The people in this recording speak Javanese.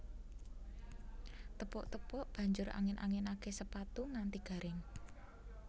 Tepuk tepuk banjur angin anginake sepatu nganti garing